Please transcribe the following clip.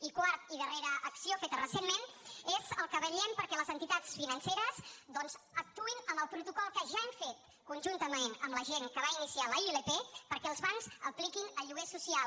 i quart i darrera acció feta recentment és que vetllem perquè les entitats financeres doncs actuïn amb el protocol que ja hem fet conjuntament amb la gent que va iniciar la ilp perquè els bancs apliquin el lloguer social